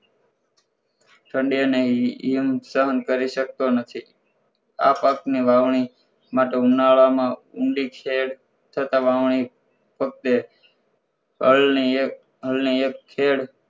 ઠંડી અને ઇયળ સહન કરી સકતો નથી આ પાકની વાવણી માંતો ઉનાળામાં ઊંડી ખેડ થતાં વાવણી ફક્ત એ હળ ની એક ખેs